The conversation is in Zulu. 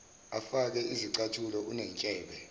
akafake zicathulo unentshebe